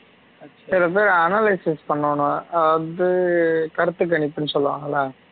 வந்து analysis பண்ணனும் ஆ வந்து கருத்துக்கணிப்புன்னு சொல்வாங்கள்ள